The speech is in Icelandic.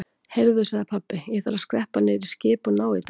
Heyrðu sagði pabbi, ég þarf að skreppa niður í skip og ná í dálítið.